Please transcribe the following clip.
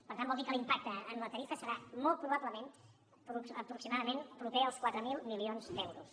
per tant vol dir que l’impacte en la tarifa serà molt probablement aproximadament proper als quatre mil milions d’euros